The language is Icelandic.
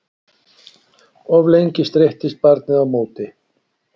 Of lengi streittist barnið á móti